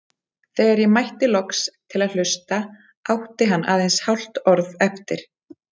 Þegar ég mætti loks til að hlusta átti hann aðeins hálft orð eftir.